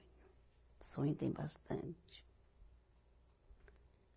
Sonho tem bastante.